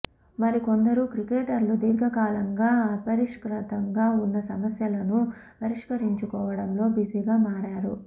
మరికొందరూ క్రికెటర్లు దీర్ఘకాలంగా అపరిష్కృతంగా ఉన్న సమస్యలను పరిష్కరించుకోవడంలో బీజీగా మారారు